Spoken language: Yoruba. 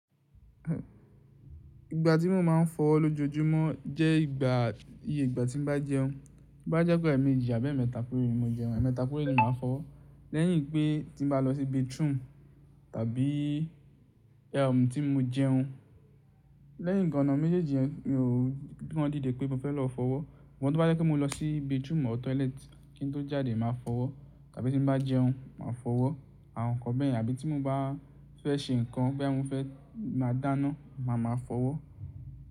Ìgbà tí mo máa ń fọ́ ọwọ́ lójoojúmọ́ jẹ́ ìgbà, iyé ìgbà tí n bá jẹun. Bí bá jẹ́ pé ẹ̀mejì abí ẹmẹta péréé mo jẹun, ẹmẹta péréé ni màá fọ́. Lẹ́yìn pé tí n bá lọ sí bathroom tàbí tí mo jẹun. Lẹ́yìn ìgana méjèèjì yẹn, mi ò kí wọn dìde pé mo fẹ́ lọ fọwọ́. Sugbọn tobá jẹ́ pe mo lọ sí bathroom or toilet, kí n tó jáde màá fọwọ́, tàbí tí n bá jẹun màá fọwọ́, àwọn nǹkan bẹ́ẹ̀ yen. Àbí tí mo bá fẹ́ ṣe nǹkan bí àwọn fẹ́ máa dáná, màá ma fọwọ́.